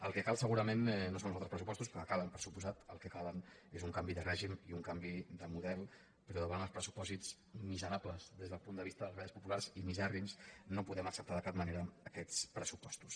el que cal segurament no són uns altres pressupostos que calen per descomptat el que cal és un canvi de règim i un canvi de model però davant els pressupòsits miserables des del punt de vista de les classes populars i misèrrims no podem acceptar de cap manera aquests pressupostos